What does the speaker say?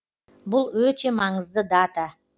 бұл өте маңызды дата